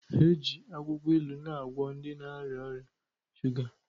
Eji akwụkwọ ilu na-agwọ ndị na-arịa ọrịa shuga.